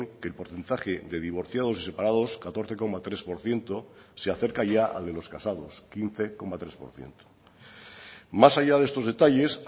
que el porcentaje de divorciados y separados catorce coma tres por ciento se acerca ya al de los casados quince coma tres por ciento más allá de estos detalles